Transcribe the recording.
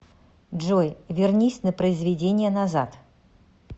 джой вернись на произведение назад